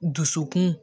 Dusukun